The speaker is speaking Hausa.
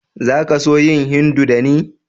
Za ka so yin Hindu da ni??